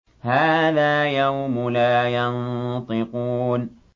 هَٰذَا يَوْمُ لَا يَنطِقُونَ